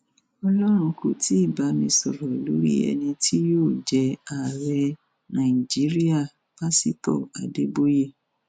ọlọrun kò tí ì bá mi sọrọ lórí ẹni tí yóò jẹ ààrẹ nàìjíríà pásitọ adéboye